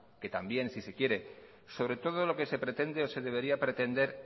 que también si se quiere sobre todo lo que se pretende o se debería pretender